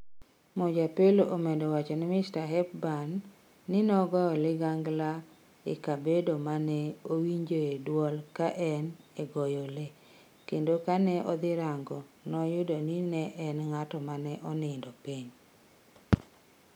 Mojapelo omedo wacho ni Mr. Hepburn wacho ni nogoyo ligangla e kabedo mane owinjoe duol ka en e goyo le, kendo kane odhi rango noyudo ni ne en ng'at ma onindo piny.